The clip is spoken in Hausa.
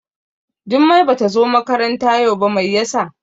Jummai Bata zo makaranta yau ba, Mai ya sa?